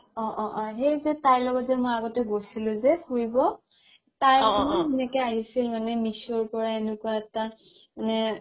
অ অ সেই যে তাইৰ লগত যে মই আগতে গৈছিলো যে ফুৰিব আহিছিল মানে সেনেকে মীশো পৰা এনেকুৱা এটা মানে